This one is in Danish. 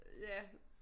Øh ja